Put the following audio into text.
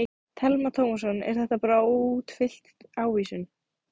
Telma Tómasson: Er þetta bara óútfyllt ávísun?